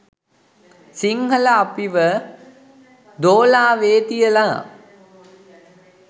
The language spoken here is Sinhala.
සිංහල අපිව දෝලාවේ තියල